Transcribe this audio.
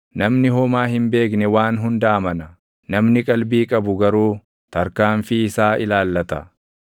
Namni homaa hin beekne waan hunda amana; namni qalbii qabu garuu tarkaanfii isaa ilaallata.